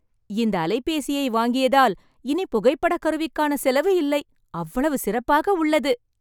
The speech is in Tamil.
இந்த அலைபேசியை வாங்கியதால் இனி புகைப்படக்கருவிகான செலவு இல்லை. அவ்வளவு சிறப்பாக உள்ளது